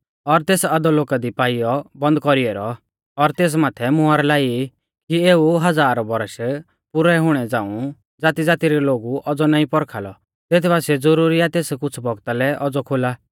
और तेस अधोलोका दी पाइयौ बन्द कौरी ऐरौ और तेस माथै मुहर लाई कि एऊ हज़ार बौरश पुरै हुणै झ़ांऊ ज़ातीज़ाती रै लोगु औज़ौ नाईं पौरखा लौ तेत बासिऐ ज़ुरुरी आ तेस कुछ़ बौगता लै औज़ौ खोला